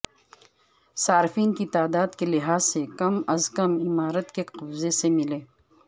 صارفین کی تعداد کے لحاظ سے کم از کم عمارت کی قبضے سے ملیں